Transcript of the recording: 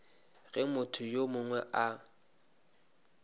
ge motho yo mongwe a